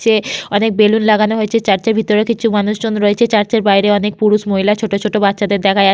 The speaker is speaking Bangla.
সে অনেক বেলুন লাগানো হয়েছে চার্চ -এর ভেতরে। কিছু মানুষজন হয়েছে চার্চ -এর বাইরে। অনেক পুরুষ মহিলা ছোট ছোট বাচ্চাদের দেখা যা--